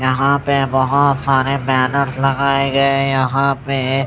यहाँ पे बहोत सारे बैनर्स लगाए गए यहाँ पे--